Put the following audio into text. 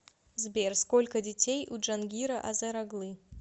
сбер сколько детей у джангира азер оглы